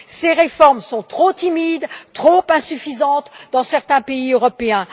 Ces réformes sont trop timides et insuffisantes dans certains pays européens.